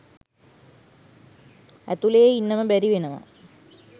ඇතුලේ ඉන්නම බැරි වෙනවා.